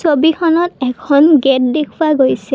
ছবিখনত এখন গেট দেখুওৱা গৈছে।